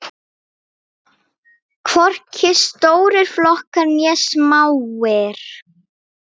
Hvorki stórir flokkar né smáir.